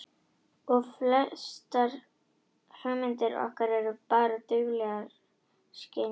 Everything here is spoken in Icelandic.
Og að flestar hugmyndir okkar eru bara dauflegar skynjanir.